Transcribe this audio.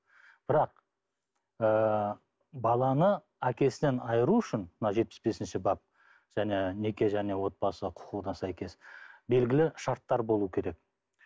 бірақ ыыы баланы әкесінен айыру үшін мына жетпіс бесінші бап және неке және отбасы құқығына сәйкес белгілі шарттар болу керек